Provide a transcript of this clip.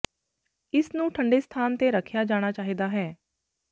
ਇਸ ਨੂੰ ਠੰਢੇ ਸਥਾਨ ਤੇ ਰੱਖਿਆ ਜਾਣਾ ਚਾਹੀਦਾ ਹੈ